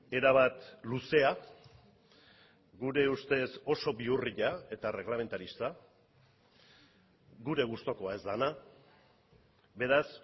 erabat luzea gure ustez oso bihurria eta erreglamentarista gure gustukoa ez dena beraz